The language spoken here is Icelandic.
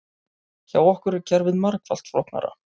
Hjá okkur er kerfið margfalt flóknara